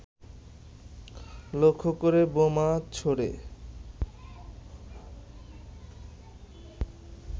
লক্ষ্যকরে বোমা ছোড়ে